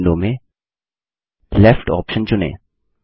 नई विंडो में left option चुनें